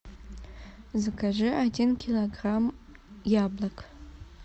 закажи один килограмм яблок